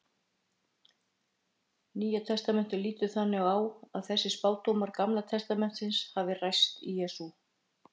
Nýja testamentið lítur þannig á að þessir spádómar Gamla testamentisins hafi ræst í Jesú.